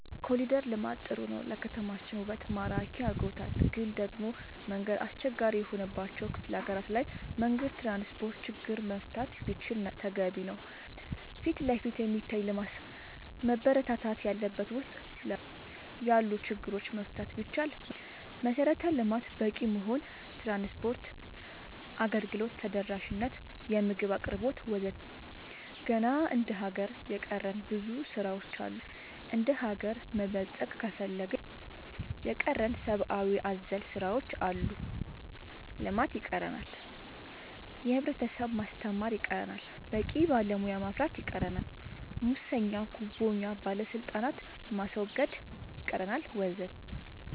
ኮሊደር ልማት ጥሩ ነው ለከተማችን ውበት ማራኪ አርጎታል ግን ደሞ መንገድ አስቸጋሪ የሆነባቸው ክፍለ ሀገራት ላይ መንገድ ትራንስፖርት ችግር መፈታት ቢችል ተገቢ ነው ፊትለፊት የሚታይ ልማት ሳይሆን መበረታታት ያለበት ውስጥ ለውስጥ ያሉ ችግሮች መፍታት ቢቻል መልካም ነው መሰረተ ልማት በቂ መሆን ትራንስፓርት አገልግሎት ተደራሽ ነት የምግብ አቅርቦት ወዘተ ገና እንደ ሀገር የቀረን ብዙ ስራ ዎች አሉ እንደሀገር መበልፀግ ከፈለግን የቀረን ሰባአዊ አዘል ስራዎች አሉ ልማት ይቀረናል የህብረተሰብ ማስተማር ይቀረናል በቂ ባለሙያ ማፍራት ይቀረናል ሙሰኛ ጉቦኛ ባለስልጣናት ማስወገድ ይቀረናል ወዘተ